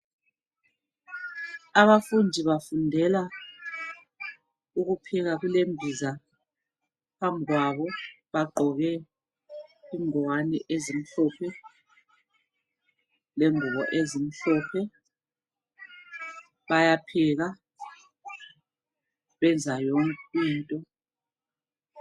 Abafundi bafundela ukupheka kulembiza phambi kwabo bagqoke ingwane ezimhlophe lengubo ezimhlophe bayapheka benza yonke into.